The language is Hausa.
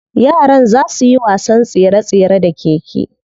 Yaran za suyi wasan tsere tsere da keke.